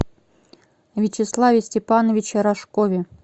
вячеславе степановиче рожкове